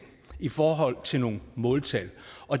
i forhold til nogle måltal